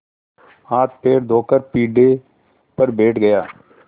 हाथपैर धोकर पीढ़े पर बैठ गया